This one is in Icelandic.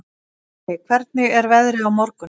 Lalli, hvernig er veðrið á morgun?